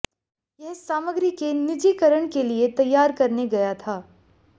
यह सामग्री के निजीकरण के लिए तैयार करने गया था